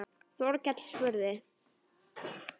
Þorkell spurði